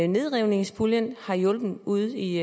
nedrivningspuljen har hjulpet ude i